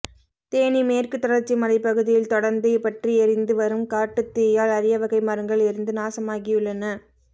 தேனி மேற்கு தொடர்ச்சி மலைப் பகுதியில் தொடர்ந்து பற்றி எரிந்து வரும் காட்டுத் தீயால் அரியவகை மரங்கள் எரிந்து நாசமாகியுள்ளன